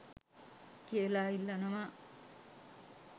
කියලා ඉල්ලනවා